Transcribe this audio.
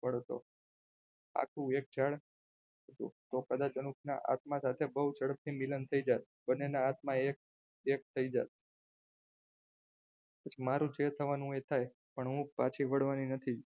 આખું એક ઞાડ હતું તો કદાચ અનુપના આત્મા સાથે બહુ ઝડપથી મિલન થઈ જાત બંનેના હાથમાં એક એક થઈ જાત પછી મારું જે થવાનું હોય એ થાય પણ હું પાછી વળવાની નથી.